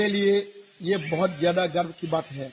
मेरे लिए ये बहुत ज्यादा गर्व की बात है